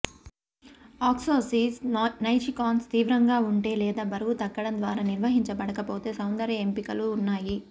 ఆక్టాసిస్ నైజికాన్స్ తీవ్రంగా ఉంటే లేదా బరువు తగ్గడం ద్వారా నిర్వహించబడకపోతే సౌందర్య ఎంపికలు ఉన్నాయి